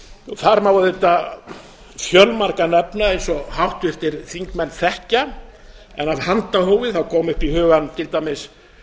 þar má auðvitað fjölmarga nefna eins og háttvirtir þingmenn þekkja en af handahófi koma upp í hugann til dæmis